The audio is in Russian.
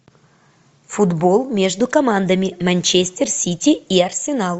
футбол между командами манчестер сити и арсенал